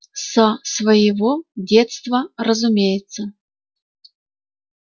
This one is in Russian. со своего детства разумеется